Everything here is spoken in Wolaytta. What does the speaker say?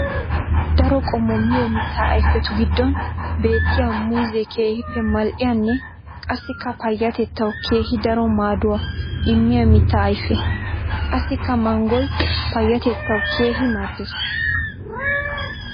Daro qommo miyo mitta ayfetu gidon beetiya muuzze keehippe mali'iyanne qassikka payatettawu keehi daro maaduwa immiya mitta ayfe. Qassikka manggoy payatettawu keehi maadees.